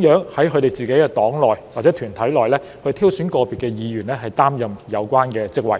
如何在其黨內或團體內挑選個別議員出任有關席位。